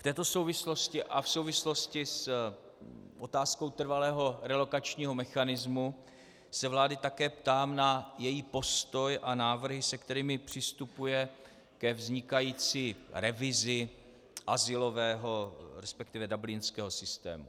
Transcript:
V této souvislosti a v souvislosti s otázkou trvalého relokačního mechanismu se vlády také ptám na její postoj a návrhy, se kterými přistupuje ke vznikající revizi azylového, respektive dublinského systému.